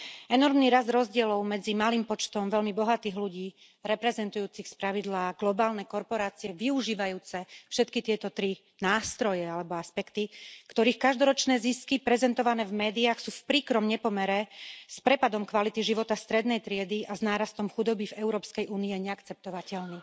Enormný rast rozdielov medzi malým počtom veľmi bohatých ľudí, reprezentujúcich spravidla globálne korporácie, využívajúce všetky tieto tri nástroje alebo aspekty, ktorých každoročné zisky prezentované v médiách sú v príkrom nepomere s prepadom kvality života strednej triedy a s nárastom chudoby v Európskej únii, je neakceptovateľný.